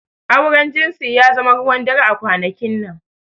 Auren jinsi ya zama ruwan dare a kwanakin nan.